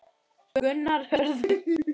Gunnar Hörður.